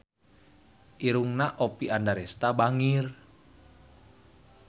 Irungna Oppie Andaresta bangir